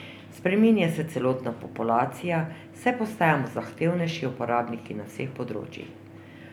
Spreminja se celotna populacija, saj postajamo zahtevnejši uporabniki na vseh področjih.